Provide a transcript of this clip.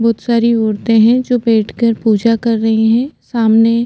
बहुत सारी औरतें है जो बैठ कर पूजा कर रहे है सामने --